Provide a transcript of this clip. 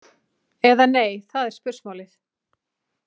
Eða nei, það er spursmálið.